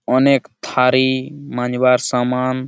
অনেক থারি-ই মাজবার সামান।